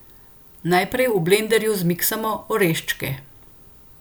Najprej v blenderju zmiksamo oreščke.